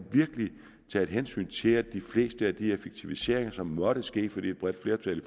taget hensyn til at de fleste af de effektiviseringer som måtte ske fordi et bredt flertal i